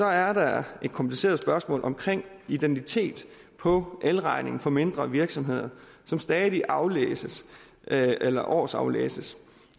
er der et kompliceret spørgsmål om identitet på elregningen for mindre virksomheder som stadig aflæses eller årsaflæses